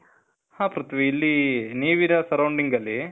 ಹಾ ಪ್ರಿಥ್ವಿ. ಇಲ್ಲೀ ನೀವ್ ಇರೋ surrounding ಅಲ್ಲೀ,